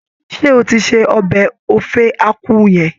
Ṣé o ti se ọbẹ̀ Ofe Akwu yẹn?